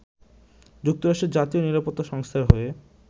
যুক্তরাষ্ট্রের জাতীয় নিরাপত্তা সংস্থার হয়ে